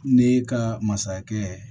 Ne ka masakɛ